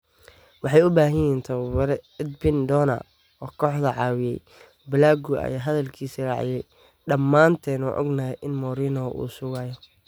“Waxay u baahan yihiin tababare edbin doona oo kooxda caawiya. Blague ayaa hadalkiisa raaciyay: “Dhamaanteen waan ognahay in Mourinho uu sugayo”.